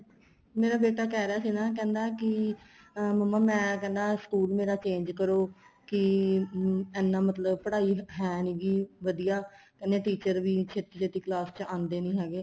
ਮੇਰਾ ਬੇਟਾ ਕਹਿ ਰਹਿਆ ਸੀ ਨਾ ਕਹਿੰਦਾ ਕੀ ਅਹ ਮੰਮਾ ਮੈਂ ਕਹਿੰਦਾ ਸਕੂਲ ਮੇਰਾ change ਕਰੋ ਕੀ ਐਨਾ ਮਤਲਬ ਪੜਾਈ ਹੈ ਨੀਗੀ ਵਧੀਆ ਕਹਿੰਦੇ teacher ਵੀ ਛੇਤੀ ਛੇਤੀ class ਵਿੱਚ ਆਂਦੇ ਨਹੀਂ ਹੈਗੇ